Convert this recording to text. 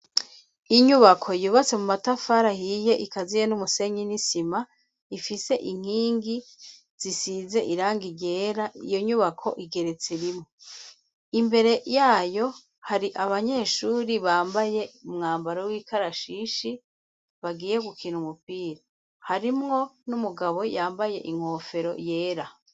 Inyubako yubatse mu matafara ahiye ikaziye n'umusenyi n'isima ifise inkingi zisize irangi ryera iyo nyubako igeretse rimwe imbere yayo hari abanyeshuri bambaye umwambaro w'ikarashishi bagiye gukina umupira harimwo n'umugabo yambaye inkofero yera.